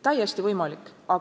Täiesti võimalik!